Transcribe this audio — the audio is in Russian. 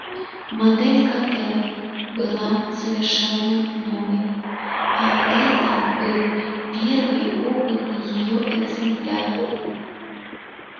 модель кт была совершенно новой а это был первый опытный её экземпляр